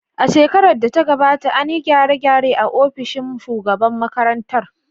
A shekarar da ta gabata, an yi gyare-gyare a ofishin shugaban makarantar